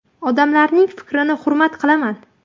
Odamlarning fikrini hurmat qilaman.